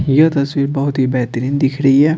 यह तस्वीर बहुत ही बेहतरीन दिख रही है।